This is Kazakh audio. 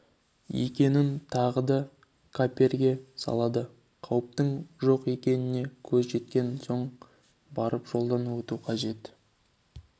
екенін тағы да қаперге салады қауіптің жоқ екеніне көз жеткен соң барып жолдан өту қажет